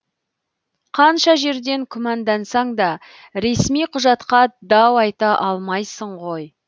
қанша жерден күмәндансаң да ресми құжатқа дау айта алмайсың ғой